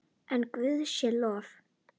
En Guði sé lof.